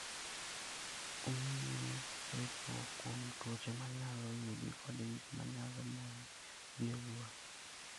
Omiyi ritruok kuom tuoche ma nyalo yudi kod gik ma nyalo moni dhi e wuoth.